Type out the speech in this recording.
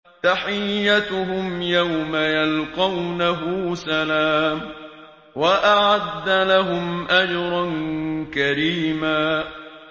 تَحِيَّتُهُمْ يَوْمَ يَلْقَوْنَهُ سَلَامٌ ۚ وَأَعَدَّ لَهُمْ أَجْرًا كَرِيمًا